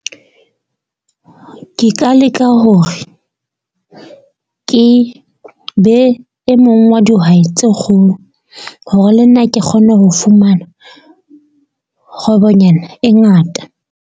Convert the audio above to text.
Ke ka leka hore ke be e mong wa dihwai tse kgolo hore le nna ke kgone ho fumana kgwebonyana e ngata.